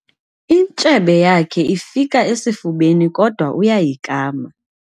Intshebe yakhe ifika esifubeni kodwa uyayikama.